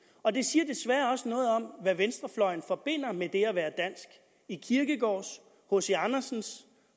og det siger desværre også noget om hvad venstrefløjen forbinder med det at være dansk i kirkegaards hc andersens